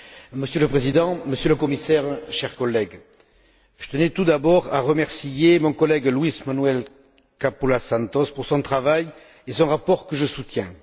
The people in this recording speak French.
Monsieur le Président, Monsieur le Commissaire, chers collègues, je tenais tout d'abord à remercier mon collègue Luis Manuel Capoulas Santos pour son travail et son rapport que je soutiens.